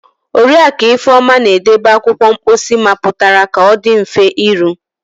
Oriakụ Ifeoma na-edobe akwụkwọ mposi mapụtara ka ọ dị mfe iru.